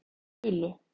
Baulu